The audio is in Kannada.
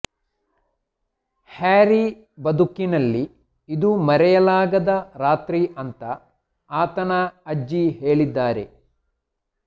ಹ್ಯಾರಿ ಬದುಕಿನಲ್ಲಿ ಇದು ಮರೆಯಲಾಗದ ರಾತ್ರಿ ಅಂತಾ ಆತನ ಅಜ್ಜಿ ಹೇಳಿದ್ದಾರೆ